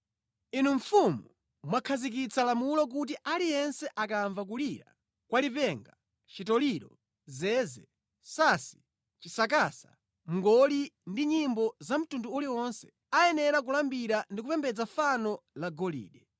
Inu mfumu, mwakhazikitsa lamulo kuti aliyense akamva kulira kwa lipenga, chitoliro, zeze, sansi, chisakasa, mngoli ndi nyimbo za mtundu uliwonse, ayenera kulambira ndi kupembedza fano la golide,